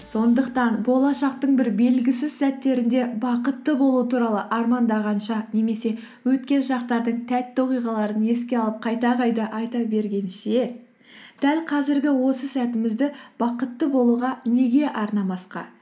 сондықтан болашақтың бір белгісіз сәттерінде бақытты болу туралы армандағанша немесе өткен шақтардың тәтті оқиғаларын еске алып қайта қайта айта бергенше дәл қазіргі осы сәтімізді бақытты болуға неге арнамасқа